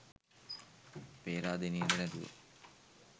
පේරාදෙනියට නැතුව